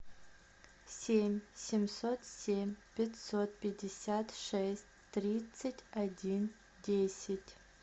семь семьсот семь пятьсот пятьдесят шесть тридцать один десять